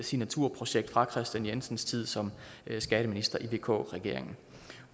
signaturprojekt fra kristian jensens tid som skatteminister i vk regeringen